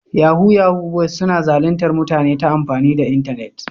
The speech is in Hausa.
Yahu-yahu boyis suna zalintar mutane ta amfani da internet.